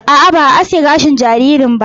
A'a, ba a aske gashin jaririn ba.